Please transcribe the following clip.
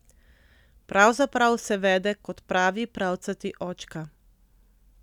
Pravzaprav se vede kot pravi pravcati očka.